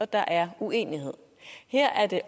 der er uenighed her er det